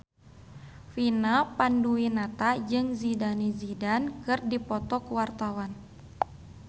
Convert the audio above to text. Vina Panduwinata jeung Zidane Zidane keur dipoto ku wartawan